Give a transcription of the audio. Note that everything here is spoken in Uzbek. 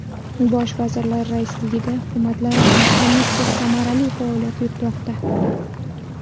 Bosh vazirlar raisligida Hukumatlararo komissiya samarali faoliyat yuritmoqda.